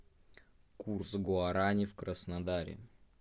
курс гуарани в краснодаре